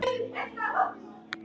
Jón Júlíus: Fyrir Íslandi?